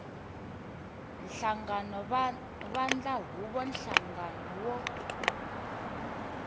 nhlangano vandla huvo nhlangano wo